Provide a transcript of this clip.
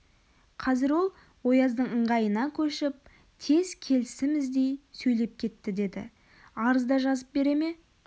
қазір ол ояздың ыңғайына көшіп тез келісім іздей сөйлеп кетті деді арыз да жазып бере ме